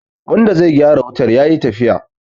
wanda zai gyara wutar ya yi tafiya